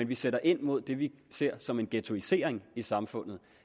vi sætter ind mod det vi ser som en ghettoisering i samfundet